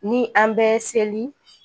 Ni an bɛ seli